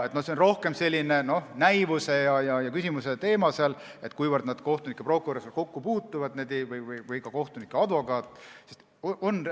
See on rohkem selline näivuse teema, kuivõrd kohtunik ja prokurör või ka kohtunik ja advokaat kokku puutuvad.